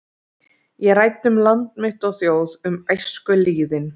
Ég ræddi um land mitt og þjóð, um æskulýðinn.